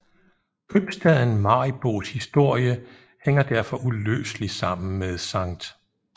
Købstaden Maribos historie hænger derfor uløseligt sammen med Skt